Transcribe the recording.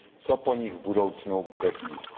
co po nich v budoucnu bude chtít.